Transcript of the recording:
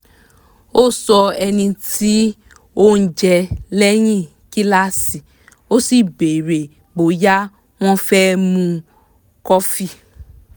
ká sì lè mọ bó um ṣe yẹ ká máa fún wọn um lóúnjẹ